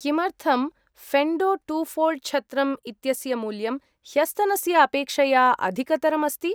किमर्थं फेण्डो two fold छत्रम् इत्यस्य मूल्यं ह्यस्तनस्य अपेक्षया अधिकतरम् अस्ति?